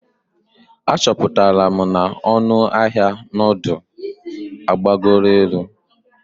Achọpụtara m na ọnụ ahịa nudu agbagoro elu.